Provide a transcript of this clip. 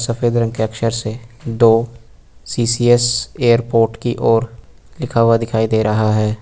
सफेद रंग के अक्षर से दो सी_सी_एस एयरपोर्ट की ओर लिखा हुआ दिखाई दे रहा है।